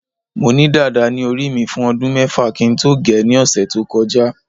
mo ni dada ni ori mi fun odun mefa ki n to ge ni ose to koja